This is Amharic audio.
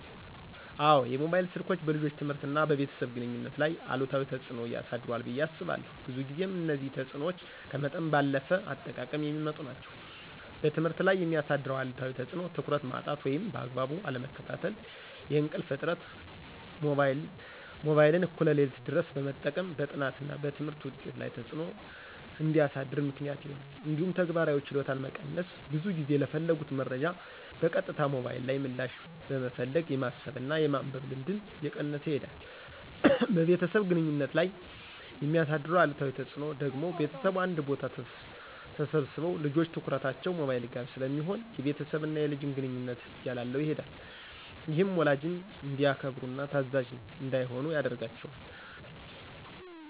አዎን፣ የሞባይል ስልኮች በልጆች ትምህርትና በቤተሰብ ግንኙነት ላይ አሉታዊ ተጽዕኖ አሳድሯል ብየ አስባለሁ። ብዙ ጊዜም እነዚህ ተጽዕኖዎች ከመጠን ባለፈ አጠቃቀም የሚመጡ ናቸው። በትምህርት ላይ የሚያሳድረው አሉታዊ ተፅዕኖ ትኩረት ማጣት ወይም በአግባቡ አለመከታተል፣ የእንቅልፍ እጥረት(ሞባይልን እኩለ ሌሊት ድረስ በመጠቀም) በጥናትና በትምህርት ውጤት ላይ ተፅዕኖ እንዲያሳድር ምክንያት ይሆናል። እንዲሁም ተግባራዊ ችሎታን መቀነስ(ብዙ ጊዜ ለፈለጉት መረጃ በቀጥታ ሞባይል ላይ ምላሽ በመፈለግ የማሰብና የማንበብ ልምድን እየቀነሰ ይሄዳል። በቤተሰብ ግንኙነት ላይ የሚያሳድረው አሉታዊ ተፅዕኖ ደግሞ ቤተሰቡ አንድ ቦታ ተሰብስበው ልጆች ትኩረታቸው ሞባይል ጋር ስለሚሆን የቤተሰብና የልጅን ግንኙነት እያላላው ይሄዳል። ይህም ወላጅን እንዳያከብሩና ታዛዥ እንዳይሆኑ ያደርጋቸዋል።